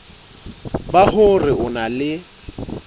ba hore o na le